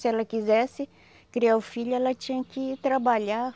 Se ela quisesse criar o filho, ela tinha que ir trabalhar,